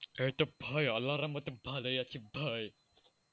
এই তো ভাই আল্লার রহমতে ভালোই আছি ভাই।